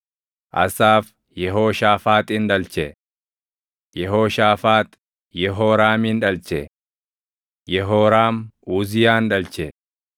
Asaaf Yehooshaafaaxin dhalche; Yehooshaafaax Yehooraamin dhalche; Yehooraam Uziyaan dhalche;